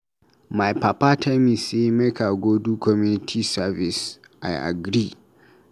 My papa tell me say make I go do community service, I agree.